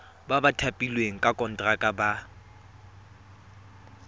ba thapilweng ka konteraka ba